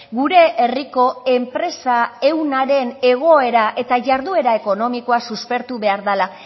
gure herriko enpresa ehunaren egoera eta jarduera ekonomikoa suspertu behar dala